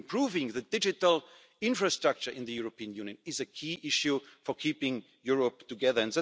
up. Improving the digital infrastructure in the European Union is a key issue for keeping Europe together.